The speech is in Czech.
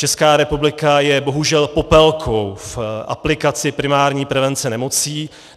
Česká republika je bohužel popelkou v aplikaci primární prevence nemocí.